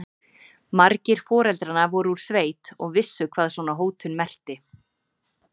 Margir foreldranna voru úr sveit og vissu hvað svona hótun merkti.